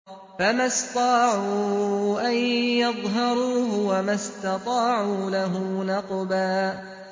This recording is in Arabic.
فَمَا اسْطَاعُوا أَن يَظْهَرُوهُ وَمَا اسْتَطَاعُوا لَهُ نَقْبًا